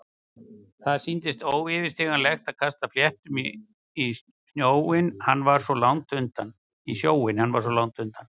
Það sýndist óyfirstíganlegt að kasta fléttum í sjóinn- hann væri svo langt undan.